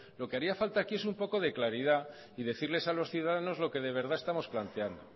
lo que haría falta aquí es un poco de claridad y decirles a los ciudadanos lo que de verdad estamos planteando